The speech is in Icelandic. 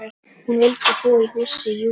Hún vildi búa í húsi Júlíu.